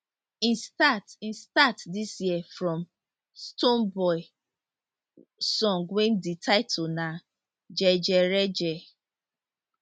e start e start dis year from stonebwoy song wey di title na jejereje